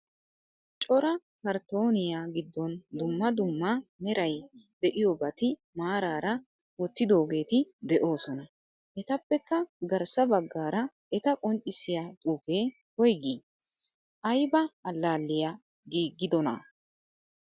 Cora karttoniyaa giddon dumma dumma meray deiyobati maarara wottidogetti deosona. Etappekka garssa baggaara eta qonccisiya xuufe woygi? Ayba allaliyaa giigidona?